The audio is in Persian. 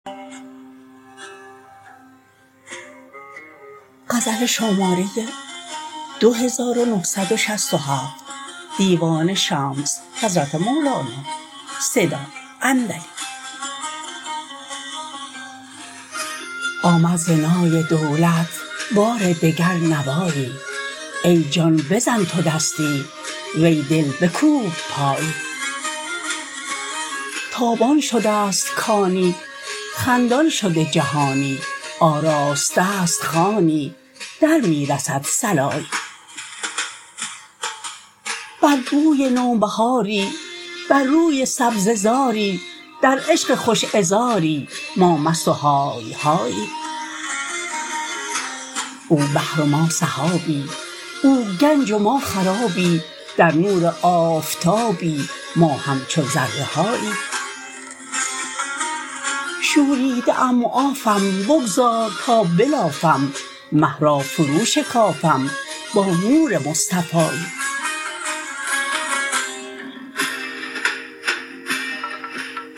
آمد ز نای دولت بار دگر نوایی ای جان بزن تو دستی وی دل بکوب پایی تابان شده ست کانی خندان شده جهانی آراسته ست خوانی در می رسد صلایی بر بوی نوبهاری بر روی سبزه زاری در عشق خوش عذاری ما مست و های هایی او بحر و ما سحابی او گنج و ما خرابی در نور آفتابی ما همچو ذره هایی شوریده ام معافم بگذار تا بلافم مه را فروشکافم با نور مصطفایی